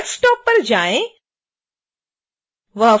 desktop पर जाएँ